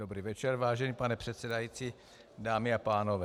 Dobrý večer, vážený pane předsedající, dámy a pánové.